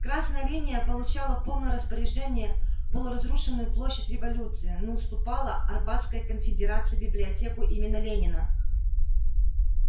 красная линия получала в полное распоряжение полуразрушенную площадь революции но уступала арбатской конфедерации библиотеку имени ленина